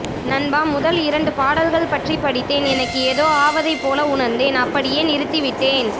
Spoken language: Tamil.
நண்பா முதல் இரண்டு பாடல்கள் பற்றி படித்தேன் எனக்கு எதோ ஆவதை போல உணர்ந்தேன் அப்படியே நிறுத்தி விட்டேன்